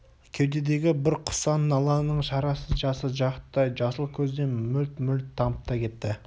кеудедегі бір құса-наланың шарасыз жасы жақұттай жасыл көзден мөлт-мөлт тамып та кетті